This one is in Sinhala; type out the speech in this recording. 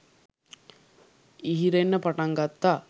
ඉහිරෙන්න පටන් ගත්තා.